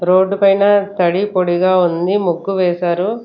Road పైన తడి పొడిగా ఉంది ముగ్గు వేశారు.